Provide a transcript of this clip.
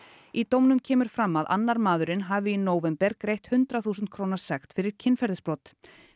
í dómnum kemur fram að annar maðurinn hafi í nóvember greitt hundrað þúsund króna sekt fyrir kynferðisbrot